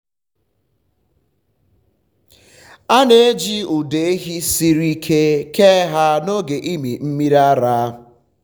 a um na-eji ụdọ ehi siri um ike kee ha um n’oge ịmị mmiri ara.